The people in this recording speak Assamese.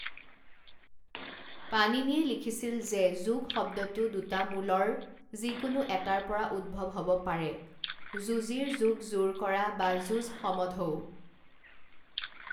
পাণিনিয়ে লিখিছিল যে যোগ শব্দটো দুটা মূলৰ যিকোনো এটাৰ পৰা উদ্ভৱ হ'ব পাৰে যোজিৰ যোগ যোৰ কৰা বা যোজ সমধৌ।